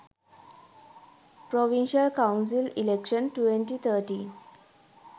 provincial council election 2013